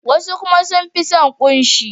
Wasu kuma sun fi son kunshi.